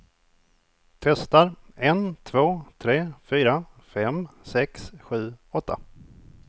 Testar en två tre fyra fem sex sju åtta.